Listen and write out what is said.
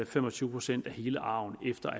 fem og tyve procent af hele arven efter